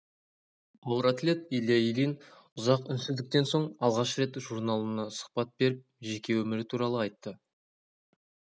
ауыр атлет илья ильин ұзақ үнсіздіктен соң алғаш рет журналына сұхбат беріп жеке өмірі туралы айтты